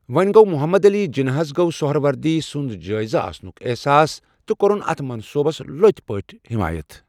وۄنۍ گوٚو، محمد علی جِناح ہس گوٚو سہروردی سنٛد جٲیِز آسنُک احساس تہٕ کوٚرُن اَتھ منصوُبس لۄتہِ پٲٹھۍ حٮ۪مایت۔